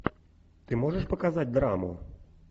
ты можешь показать драму